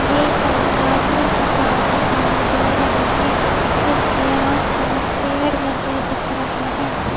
ये कोई धार्मिक जगह दिखाई दे रही है इसके आसपास पेड़ लगे दिख रहे हैं।